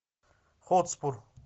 хотспур